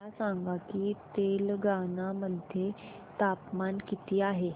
मला सांगा की तेलंगाणा मध्ये तापमान किती आहे